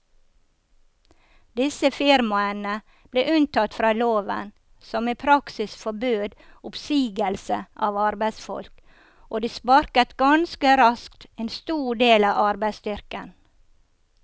Disse firmaene ble unntatt fra loven som i praksis forbød oppsigelse av arbeidsfolk, og de sparket ganske raskt en stor del av arbeidsstyrken.